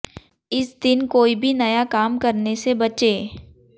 इस दिन कोई भी नया काम करने से बचे